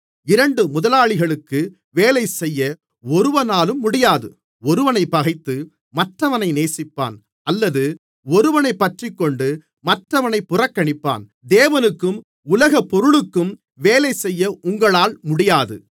இரண்டு முதலாளிகளுக்கு வேலைசெய்ய ஒருவனாலும் முடியாது ஒருவனைப் பகைத்து மற்றவனை நேசிப்பான் அல்லது ஒருவனைப்பற்றிக்கொண்டு மற்றவனைப் புறக்கணிப்பான் தேவனுக்கும் உலகப்பொருளுக்கும் வேலைசெய்ய உங்களால் முடியாது